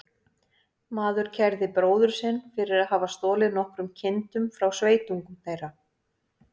Maður kærði bróður sinn fyrir að hafa stolið nokkrum kindum frá sveitungum þeirra.